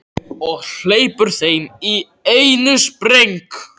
Og hleypur heim í einum spreng.